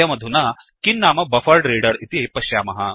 वयमधुना किन्नाम बफरेड्रेडर इति पश्यामः